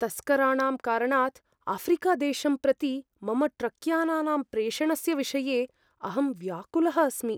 तस्कराणां कारणात् आफ़्रिकादेशं प्रति मम ट्रक्यानानां प्रेषणस्य विषये अहं व्याकुलः अस्मि।